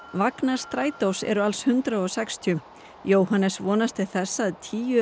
vagnar Strætós eru alls hundrað og sextíu Jóhannes vonast til þess að tíu